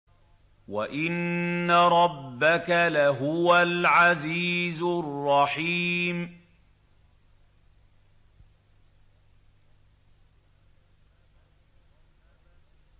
وَإِنَّ رَبَّكَ لَهُوَ الْعَزِيزُ الرَّحِيمُ